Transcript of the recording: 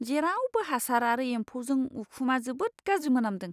जेरावबो हासार आरो एम्फौजों उखुमा जोबोद गाज्रि मोनामदों!